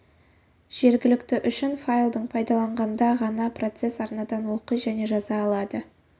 жергілікті үшін файлдың пайдаланғанда ғана процесс арнадан оқи және жаза алады